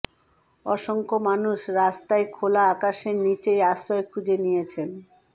অসংখ্য মানুষ রাস্তায় খোলা আকাশের নিচেই আশ্রয় খুঁজে নিয়েছেন